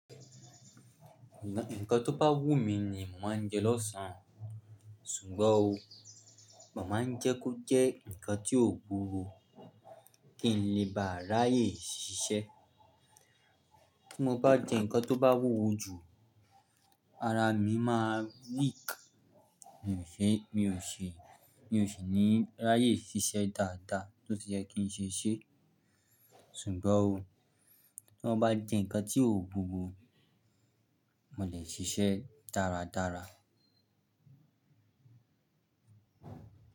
Nǹkan tó bá wù mí ni màá jẹ lọ́sàn, ṣùgbọ́n o, màá ń jẹ́ kó jẹ́ nǹkan tí ò buru kí n lè bá ráyè ṣiṣẹ́. Bí mo bá jẹ nǹkan tó bá wúwo jù, ara mi má weak. Mi ò ṣe, mi ò ṣe, mi ò ṣe ní ráyè ṣiṣẹ́ dáadáa tó ti jẹ́ kí n ṣe ṣé, ṣùgbọ́n o, tí mo bá jẹ nǹkan tí ò wuwo, mo lè ṣiṣẹ́ dáradára.